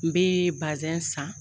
N bɛ bazɛn san.